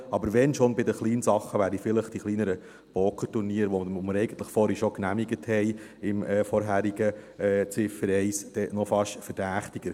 Aber wenn schon wären dann bei den Kleinspielen vielleicht die kleineren Pokerturniere, die wir vorhin unter der vorherigen Ziffer 1 bereits genehmigt haben, noch fast verdächtiger.